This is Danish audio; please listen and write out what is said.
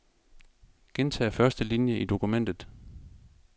Gentag første linie i dokumentet.